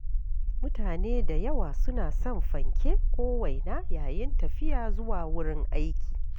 Mutane da yawa suna son fanke ko waina yayin tafiya zuwa wurin aiki.